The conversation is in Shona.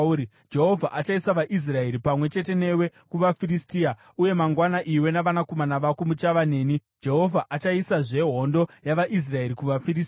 Jehovha achaisa vaIsraeri pamwe chete newe kuvaFiristia, uye mangwana iwe navanakomana vako muchava neni. Jehovha achaisazve hondo yavaIsraeri kuvaFiristia.”